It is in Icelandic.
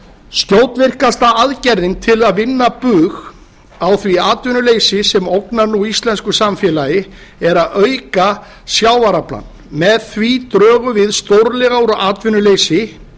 skjótvirkasta aðgerðin til að vinna bug á því atvinnuleysi sem ógnar nú íslensku samfélagi er að auka sjávaraflann með því drögum við stórlega úr atvinnuleysi